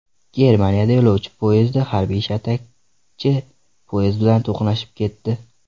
Germaniyada yo‘lovchi poyezdi harbiy shatakchi poyezd bilan to‘qnashib ketdi.